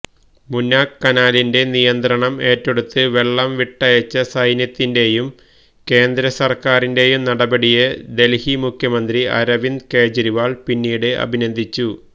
മുനാക് കനാലിന്റെ നിയന്ത്രണം ഏറ്റെടുത്ത് വെള്ളം വിട്ടയച്ച സൈന്യത്തിന്റെയും കേന്ദ്രസര്ക്കാരിന്റെയും നടപടിയെ ദല്ഹി മുഖ്യമന്ത്രി അരവിന്ദ് കേജ്രിവാള് പിന്നീട് അഭിനന്ദിച്ചു